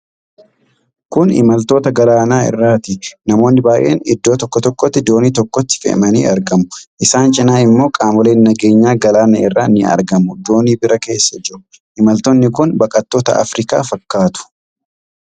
Kun Imaltoota galaana irraati. Namooti baay'een iddoo tokkotti doonii tokkotti fe'amanii argamu. Isaan cinaa immoo qaamoleen nageenyaa galaana irraa ni argamu doonii biraa keessa jiru. Imaltoonni kun baqattoota Afrikaa fakkaatu.